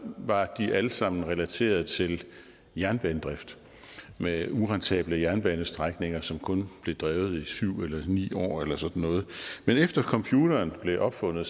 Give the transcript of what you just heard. var de alle sammen relateret til jernbanedrift med urentable jernbanestrækninger som kun blev drevet i syv år eller ni år eller sådan noget men efter computeren blev opfundet